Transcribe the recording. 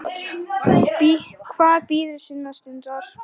Hvað bíður sinnar stundar.